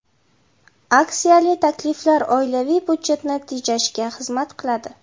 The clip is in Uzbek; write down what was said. Aksiyali takliflar oilaviy byudjetni tejashga xizmat qiladi.